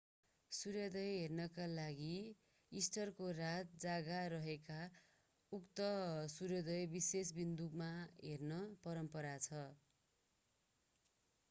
सूर्योदय हेर्नका लागि इस्टरको रात जागा रहेर उक्त सुर्योदय विशेष बिन्दुमा हेर्ने परम्परा छ